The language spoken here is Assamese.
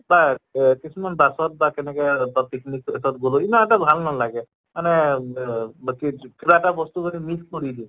বা এহ কিছুমান bus ত বা তেনেকে এ বা picnic place ত গলেও ইমান এটা ভাল নালাগে মানে ৱে কিবা এটা বস্তু যদি miss কৰি দিওঁ